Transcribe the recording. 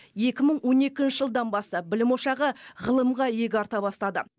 екі мың он екінші жылдан бастап білім ошағы ғылымға иек арта бастады